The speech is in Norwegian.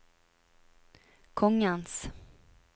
kongens